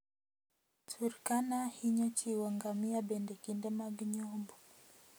Turkana hinyo chiwo ngamia bende kinde mag nyombo.